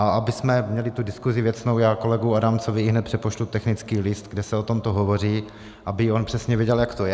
A abychom měli tu diskuzi věcnou, já kolegovi Adamcovi ihned přepošlu technický list, kde se o tomto hovoří, aby on přesně věděl, jak to je.